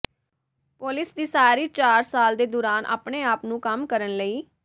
ਪੌਲੁਸ ਦੀ ਸਾਰੀ ਚਾਰ ਸਾਲ ਦੇ ਦੌਰਾਨ ਆਪਣੇ ਆਪ ਨੂੰ ਕੰਮ ਕਰਨ ਲਈ